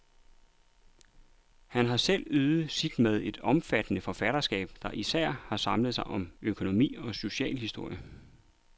Han har selv ydet sit med et omfattende forfatterskab, der især har samlet sig om økonomi og socialhistorie.